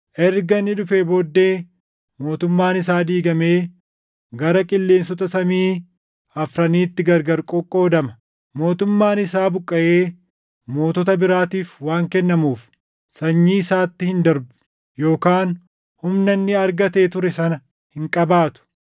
Erga inni dhufee booddee mootummaan isaa diigamee gara qilleensota samii afraniitti gargar qoqqoodama. Mootummaan isaa buqqaʼee mootota biraatiif waan kennamuuf sanyii isaatti hin darbu yookaan humna inni argatee ture sana hin qabaatu.